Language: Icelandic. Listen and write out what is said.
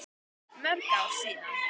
Mörg ár síðan.